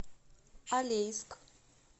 алейск